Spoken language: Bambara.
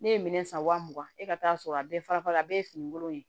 Ne ye minɛn san wa mugan e ka t'a sɔrɔ a bɛɛ farafara a bɛɛ ye fini kolon ye